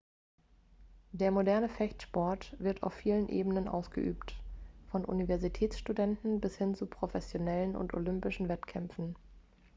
der moderne fechtsport wird auf vielen ebenen ausgeübt von universitätsstudenten bis hin zu professionellen und olympischen wettkämpfen